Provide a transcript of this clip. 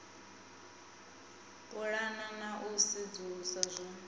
pulana na u sedzulusa zwo